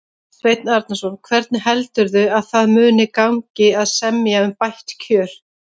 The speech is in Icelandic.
Sveinn Arnarson: Hvernig heldurðu að það muni gangi að semja um bætt kjör?